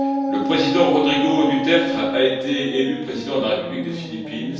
Le président Rodrigo Duterte a été élu président de la République des Philippines.